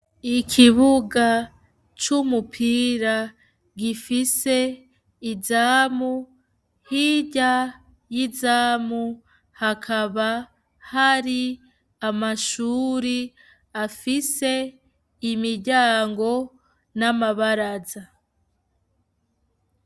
Ikibuga c'umupira, gifise izamu, hirya y'izamu hakaba hari amashuri afise imiryango n'amabaraza.